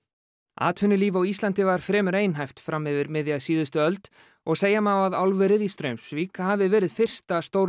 atvinnulíf á Íslandi var fremur einhæft fram yfir miðja síðustu öld og segja má að álverið í Straumsvík hafi verið fyrsta